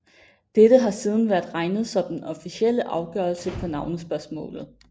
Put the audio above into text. Dette har siden været regnet som den officielle afgørelse på navnespørgsmålet